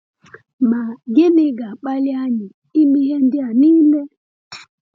Ma gịnị ga-akpali anyị ime ihe ndị a niile?